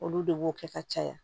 Olu de b'o kɛ ka caya